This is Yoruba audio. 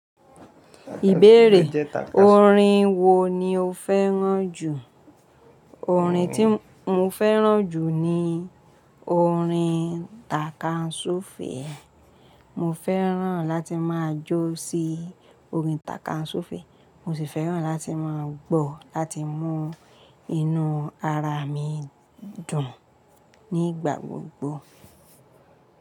Ìbéèrè: Orin wo ni o fẹ́ràn jù? Orin tí mo fẹ́ràn jù ni orin takansu fèè. Mo fẹ́ràn láti máa jó sí orin takansu fèè. Mo sì fẹ́ràn láti máa gbọ́ láti mú inú ara mi dùn nígbà gbogbo.